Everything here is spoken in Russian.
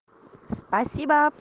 спасибо